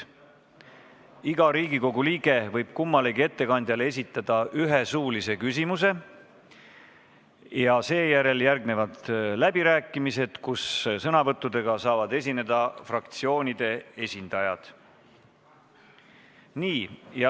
Iga Riigikogu liige võib kummalegi ettekandjale esitada ühe suulise küsimuse ja siis järgnevad läbirääkimised, kus sõna saavad võtta fraktsioonide esindajad.